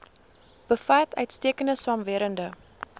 bevat uitstekende swamwerende